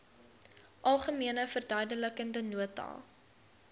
algemene verduidelikende nota